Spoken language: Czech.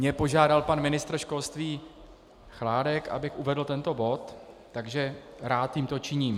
Mě požádal pan ministr školství Chládek, abych uvedl tento bod, takže rád tímto činím.